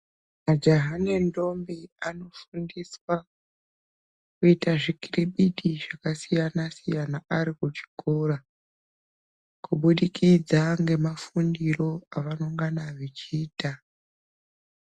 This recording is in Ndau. Majaha nendombi anofundiswa kuita zvikiribidi zvakasiyana-siyana arikuchikora kubidikidza ngemafundiro avonongana veichiita.